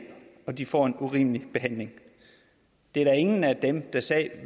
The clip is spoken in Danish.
og at de får en urimelig behandling det er der ingen af dem der sad